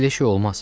Belə şey olmaz.